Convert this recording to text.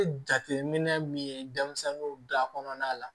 Jateminɛ min ye denmisɛnninw da kɔnɔna la